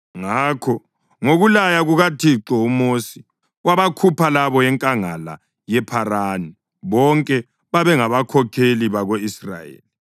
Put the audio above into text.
Ngakho ngokulaya kukaThixo uMosi wabakhupha labo enkangala yePharani. Bonke babengabakhokheli bako-Israyeli.